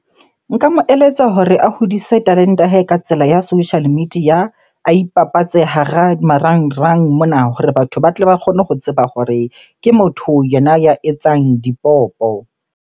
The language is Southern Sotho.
Nka mo eletsa hore a hodise talente ya hae ka tsela ya social media. A ipapatse hara marangrang mona hore batho ba tle ba kgone ho tseba hore ke motho yena ya etsang dipopo.